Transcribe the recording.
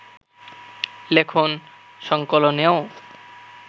লেখন সংকলনেও